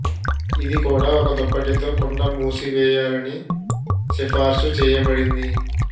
ఇది కూడా ఒక దుప్పటి తో కుండ మూసివేయాలని సిఫార్సు చేయబడింది